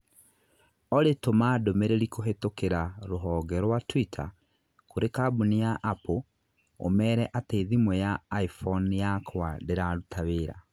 Olly tũma ndũmĩrĩri kũhitũkĩra rũhonge rũa tũitar kũrĩ kambũni ya Apple ũmeere atĩ thimũ ya iphone yakwa ndiraruta wira